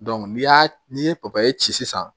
ni y'a n'i ye ci sisan